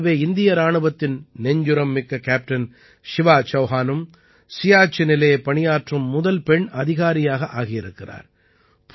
இதைப் போலவே இந்திய இராணுவத்தின் நெஞ்சுரம் மிக்க கேப்டன் சிவா சௌஹானும் சியாச்சினிலே பணியாற்றும் முதல் பெண் அதிகாரியாக ஆகியிருக்கிறார்